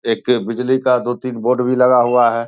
एक बिजली का दो तीन बोर्ड भी लगा हुआ हैं।